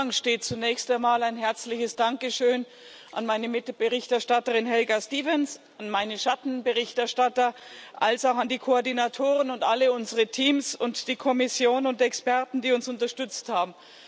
Am Anfang steht zunächst einmal ein herzliches Dankeschön an meine Mitberichterstatterin Helga Stevens, an meine Schattenberichterstatter und als auch an die Koordinatoren und alle unsere Teams, die Kommission und Experten, die uns unterstützt haben.